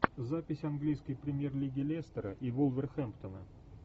запись английской премьер лиги лестера и вулверхэмптона